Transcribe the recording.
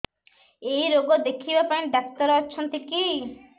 ଏଇ ରୋଗ ଦେଖିବା ପାଇଁ ଡ଼ାକ୍ତର ଅଛନ୍ତି କି